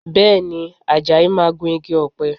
Bẹ́ẹ̀ ni, Àjàyí máa gun igi ọ̀pẹ